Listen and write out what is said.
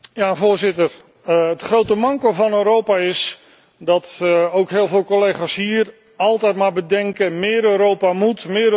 Het grote manco van Europa is dat ook heel veel collega's hier altijd maar denken meer Europa moet, meer Europa doet je goed.